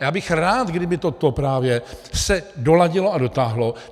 A já bych rád, kdyby toto právě se doladilo a dotáhlo.